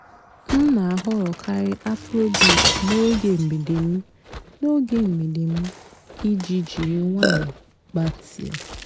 m nà-àhọ́rọ́kàrị́ afróbeat n'óge m̀gbèdé m n'óge m̀gbèdé m ìjì jírí ǹwànyọ́ gbàtị́á.